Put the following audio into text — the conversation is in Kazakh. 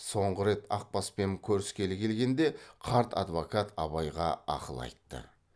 соңғы рет ақбаспен көріскелі келгенде қарт адвокат абайға ақыл айтты